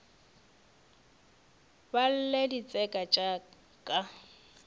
ba lle ditseka tša ka